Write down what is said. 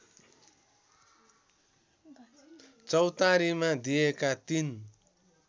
चौतारीमा दिएका ३